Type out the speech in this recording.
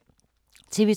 TV 2